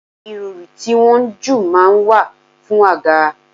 Irori tí wọ́n ń jù máa ń wà fún àga.